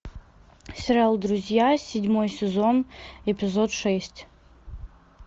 сериал друзья седьмой сезон эпизод шесть